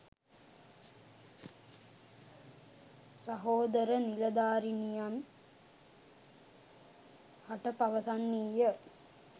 සහෝදර නිලධාරීනියන් හට පවසන්නීය.